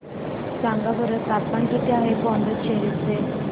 सांगा बरं तापमान किती आहे पुडुचेरी चे